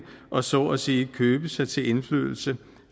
og så at sige købe sig til indflydelse